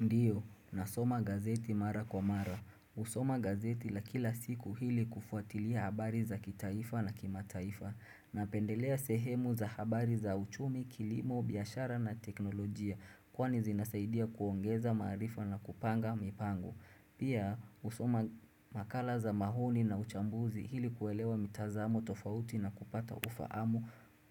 Ndiyo, nasoma gazeti mara kwa mara. Kusoma gazeti la kila siku hili kufuatilia habari za kitaifa na kimataifa. Napendelea sehemu za habari za uchumi, kilimo, biyashara na teknolojia kwani zinasaidia kuongeza maarifa na kupanga mipango Pia, usoma makala za mahuni na uchambuzi hili kuelewa mitazamo tofauti na kupata ufaamu